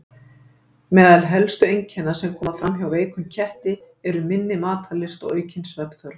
Meðal helstu einkenna sem koma fram hjá veikum ketti eru minni matarlyst og aukin svefnþörf.